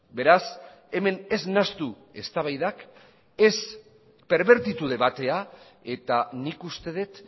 beraz hemen ez nahastu eztabaidak ez perbertitu debatea eta nik uste dut